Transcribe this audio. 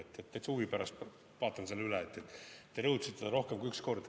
Täitsa huvi pärast vaatan selle üle, te rõhutasite seda rohkem kui üks kord.